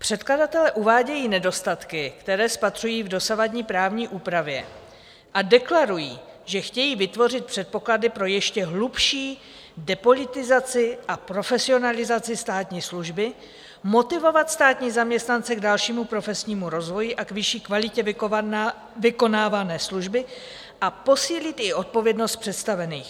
Předkladatelé uvádějí nedostatky, které spatřují v dosavadní právní úpravě, a deklarují, že chtějí vytvořit předpoklady pro ještě hlubší depolitizaci a profesionalizaci státní služby, motivovat státní zaměstnance k dalšímu profesnímu rozvoji a k vyšší kvalitě vykonávané služby a posílit i odpovědnost představených.